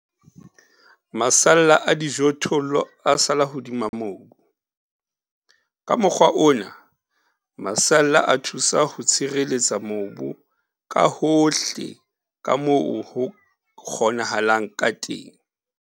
Masalla a dijothollo a sala hodima mobu. Ka mokgwa ona, masalla a thusa ho tshireletsa mobu ka hohle ka moo ho kgonahalang ka teng.